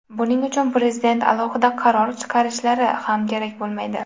Buning uchun Prezident alohida qaror chiqarishlari ham kerak bo‘lmaydi.